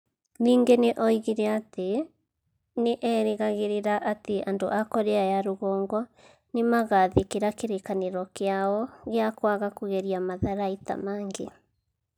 Ningĩ nĩ oigire atĩ nĩ erĩgagĩrĩra atĩ andũ a Korea ya Rũgongo nĩ magaathĩkĩra kĩrĩkanĩro kĩao gĩa kwaga kũgeria matharaita mangĩ.